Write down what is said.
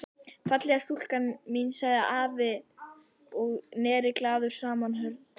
Fallega stúlkan mín sagði afi og neri glaður saman höndunum.